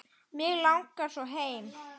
Mig langar svo heim.